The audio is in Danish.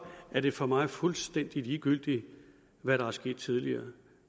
er det for mig fuldstændig ligegyldigt hvad der er sket tidligere